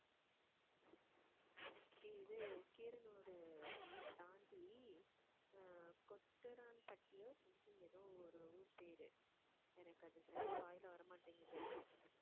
இது கீரனூர் தாண்டி அஹ் கொட்டுறான்பட்டியோ something ஏதோ ஒரு ஊர் பேரு எனக்கு அது சரியா வாயில வர மாட்டேங்குது